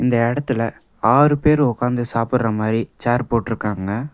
இந்த எடத்துல ஆறு பேர் உக்காந்து சாப்புற மாரி சேர் போட்ருக்காங்க.